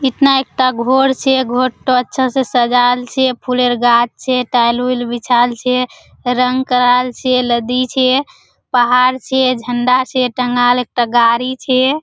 इतना एकटा घोर छे घोरटा अच्छा से सजाल छे फुलेर गाछ छे टाइल-उईल बिछाल छे रंग कराल छे लदी छे पहाड़ छे झंडा छे टागाल एकटा गाड़ी छे।